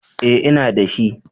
Eh ina da shi